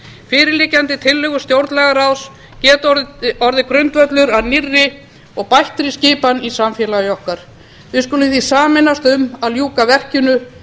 fyrirliggjandi tillögur stjórnlagaráðs geta orðið grundvöllur að nýrri og bættri skipan í samfélagi okkar við skulum því sameinast um að ljúka verkinu